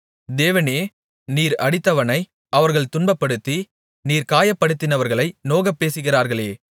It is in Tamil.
தேவனே நீர் அடித்தவனை அவர்கள் துன்பப்படுத்தி நீர் காயப்படுத்தினவர்களை நோகப் பேசுகிறார்களே